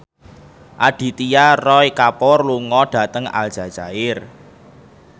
Aditya Roy Kapoor lunga dhateng Aljazair